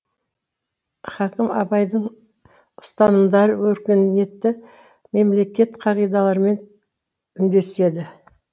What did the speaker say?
хакім абайдың ұстанымдары өркениетті мемлекет қағидаларымен үндеседі